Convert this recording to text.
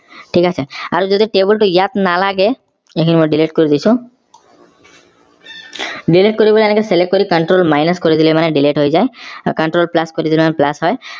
ঠিক আছে আৰু যদি table টো ইয়াত নালাগে এইখিনি মই delete কৰি দিছো delete কৰিবলৈ এনেকে select কৰি control minus কৰিদিলে মানে delete হৈ যায় আৰু control plus কৰিদিলে plus হয়